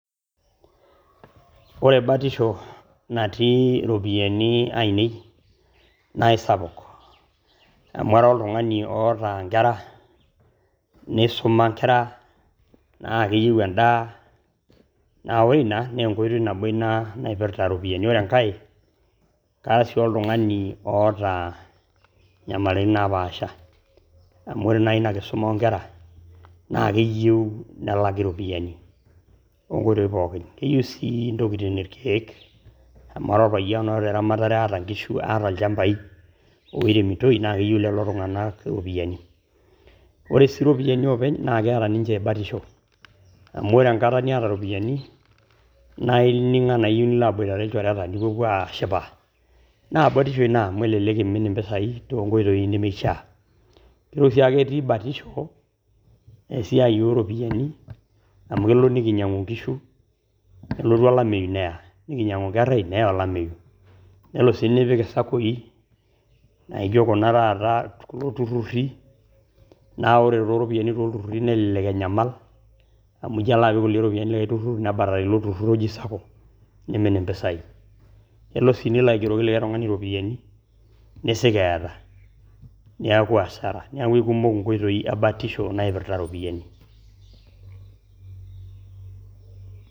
Ore batisho natii iropiyani ainei naa esapuk amu ara oltungani oota enkera neisuma inkera ,naa keyeu endaa, naa ore inia naa enkoitoi nabo ina naipirita iropiyiani, ore enkae kara sii oltungani oota inyamaritin napaaasha amu ore naa ina nkisuma onkera naa keyeu nelaki iropiyiani onkoitoi pookin, keyeu sii ntokitin lkeek amu ara olpayen oota ramatare aata inkishu, aata olchambaii ooremitoi naa keyeu lelo tunganak iropiyiani . Ore si iropiyiani oopeny naa keeta ninche batisho amu ore enkata nieta ropiyiani naa ining' anaa iyeu nilo abuatere ilchoreta nipopo aashipa naa batisho ina amu elelek eimin empesai to nkoitoi nemeishaa . Ore si ake etii batisho esiaai ooropiyiani amu kelo nikinyang'u inkishu nelotu olamei neya ,nikinyang'u inkerrai neya olamei ,nelo sii nipik isapuki naaijo kuna taata kulo tururri naa ore too ropiyiani too lturruri nelelek enyamal amu ijo alo apik iropiyiani likai turrur nebalaki ilo turrur weji sapuk nemin mpisai, nilo sii nilo aigeroki likai tungani iropiyani, neisig eata neaku hasara, neaku ekumok enkoitoi ebatisho naipirrita iropiyiani.